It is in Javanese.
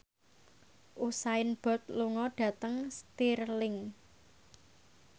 Usain Bolt lunga dhateng Stirling